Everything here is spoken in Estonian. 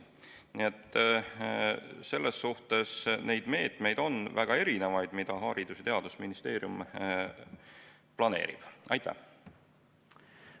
Nii et neid meetmeid, mida Haridus- ja Teadusministeerium planeerib, on mitmesuguseid.